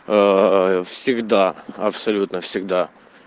всегда абсолютно всегда